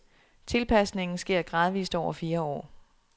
Tilpasningen sker gradvist over fire år.